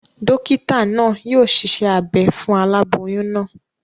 Dókítà naa yio siṣẹ́ abe fún aláboyún naa